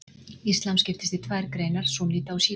Íslam skiptist í tvær greinar, súnníta og sjíta.